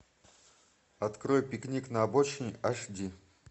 открой пикник на обочине аш ди